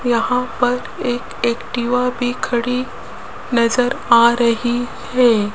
यहां पर एक एक्टिवा भी खड़ी नजर आ रही है।